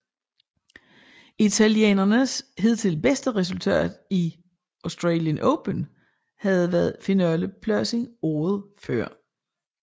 Italienernes hidtil bedste resultat i Australian Open havde været finalepladsen året før